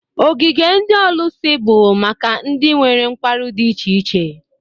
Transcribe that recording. Ogige ndị ọlụsị bụ maka ndị nwere nkwarụ dị iche iche.